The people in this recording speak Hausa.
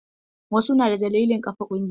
Wasu na da dalilin ƙafa ƙungiya.